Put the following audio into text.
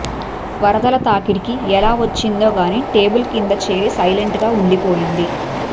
వరదల తాకిడికి ఎలా వచ్చిందో గాని టేబుల్ కింద చేరి సైలెంట్ గా ఉండిపోయింది